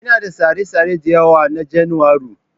Ina da tsare-tsare da yawa na Janairu.